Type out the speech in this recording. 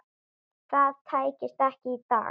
Það tækist ekki í dag.